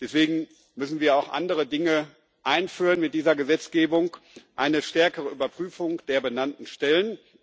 Deswegen müssen wir auch andere Dinge einführen mit dieser Gesetzgebung eine stärkere Überprüfung der benannten Stellen.